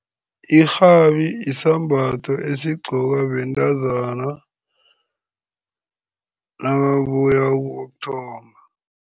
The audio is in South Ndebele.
Irhabi yisambatho esigqokwa bentazana nababuya ukuyokuthomba.